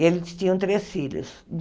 E eles tinham três filhos.